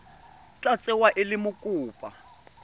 tla tsewa e le mokopa